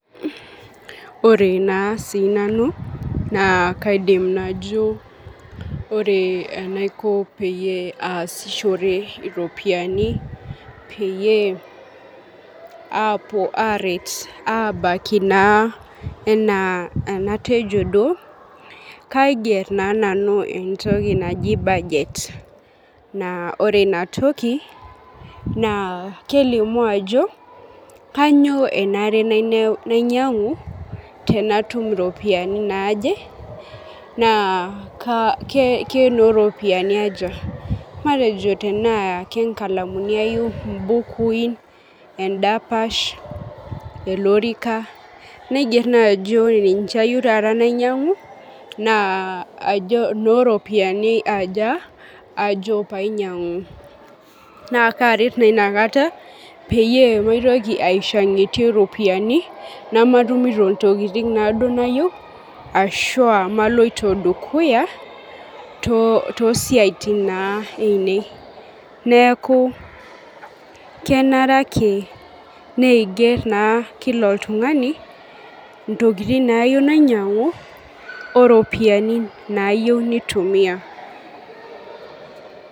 Ore naa sii nanu naa kajo ore enaiko peyie aasishore iropiyiani peyie apuo aret abaiki enaa enatejo duo ,kaiger naa nanu entoki naji budget naa ore inatoki kelimu ajo kainyoo enare nainyangu tenatum ropiyiani naaje naa kenooropiyiani aja .matejo tenaa nkalamuni ayieu, mbukui, endapash ,olorikan ,naigero naaji ore ninche ayieu nainyangu na ajo noropiyiani aja ajo pee ainyangu. naa kaaret naa inakata peyie maitoki ishangitie ropiyiani ,nematumito naduo ntokiting nayieu ashua naloito dukuya toosiaitin naa ainei. neeku kenare naake neiger kila oltungani ntokiting naayieu neinyangu oropiyini nayieu neitumiya.